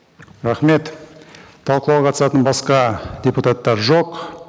рахмет талқылауға қатысатын басқа депутаттар жоқ